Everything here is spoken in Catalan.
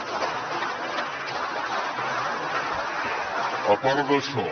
a part d’això